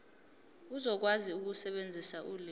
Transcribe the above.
uzokwazi ukusebenzisa ulimi